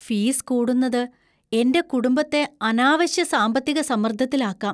Fees കൂടുന്നത് എന്‍റെ കുടുംബത്തെ അനാവശ്യ സാമ്പത്തിക സമ്മർദ്ദത്തിലാക്കാം.